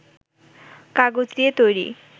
কাগজ দিয়ে তৈরী